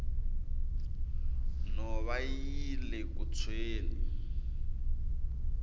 nhova yile ku tshweni